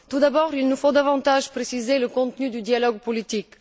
Tout d'abord, il nous faut davantage préciser le contenu du dialogue politique.